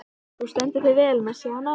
Þú stendur þig vel, Messíana!